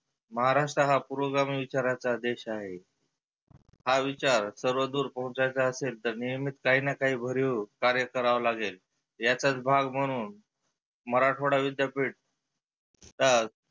महाराष्ट्र हा पुर्वगामी विचाराचा देश आहे. हा विचार सर्वदुर पोहचवायाचा असेल तर नियमित काहीना काही भरीव कार्य करावे लागेल याचाच भाग म्हणुन मराठवाडा विद्यापिठ का